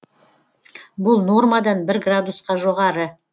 бұл нормадан бір градусқа жоғары